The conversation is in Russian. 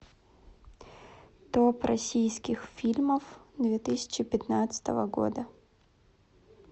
топ российских фильмов две тысячи пятнадцатого года